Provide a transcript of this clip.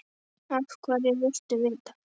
Af hverju viltu vita það?